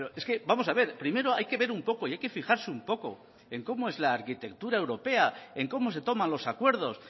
es que vamos a ver primero hay que ver un poco y hay que fijarse un poco en cómo es la arquitectura europea en cómo se toman los acuerdos